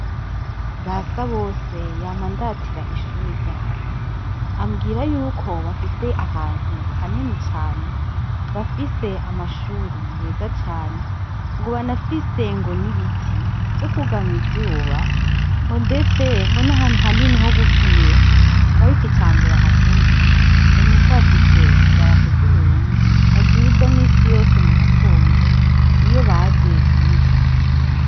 Basabose yama andatira ishure ryabo. Ambwira yuko, bafise ahantu hanini cane, bafise amashure meza cane, ngo banafise ngo n'ibiti vyo kwugama izuba, ngo ndetse ngo n'ahantu hanini ho gukinira. Ng'ariko ica mbere ahakundira ngo nuko hafise idarapo ry'Uburundi, baduza minsi yose mugatondo iyo baje kwiga.